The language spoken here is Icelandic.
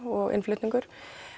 og innflutningur